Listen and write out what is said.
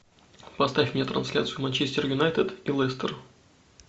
поставь мне трансляцию манчестер юнайтед и лестер